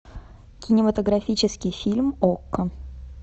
кинематографический фильм окко